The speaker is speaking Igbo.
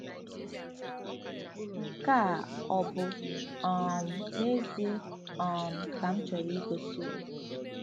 Nke a ọ bụ um n'ezie um ka m chọrọ igosi onwe m?